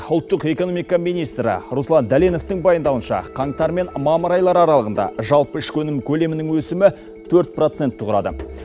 ұлттық экономика министрі руслан дәленовтің баяндауынша қаңтар мен мамыр айлары аралығында жалпы ішкі өнім көлемінің өсімі төрт процентті құрады